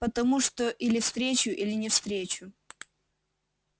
потому что или встречу или не встречу